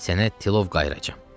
Sənə tilov qayıracam.